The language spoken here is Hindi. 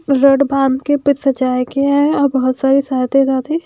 रेड भाम्ब के ऊपर सजाया गया है और बहोत सारे --